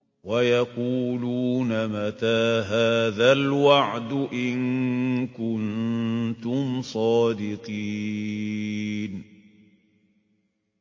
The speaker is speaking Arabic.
وَيَقُولُونَ مَتَىٰ هَٰذَا الْوَعْدُ إِن كُنتُمْ صَادِقِينَ